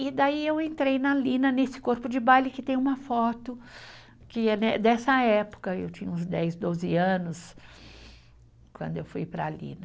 E daí eu entrei na Lina, nesse corpo de baile que tem uma foto, que é né, dessa época, eu tinha uns dez, doze anos, quando eu fui para a Lina.